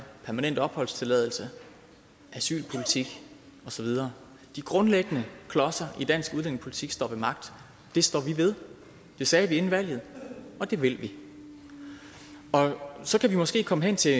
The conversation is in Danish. permanent opholdstilladelse asylpolitik og så videre de grundlæggende klodser i dansk udlændingepolitik står ved magt det står vi ved det sagde vi inden valget og det vil vi så kan vi måske komme hen til